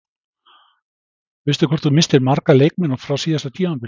Veistu hvort þú missir marga leikmenn frá síðasta tímabili?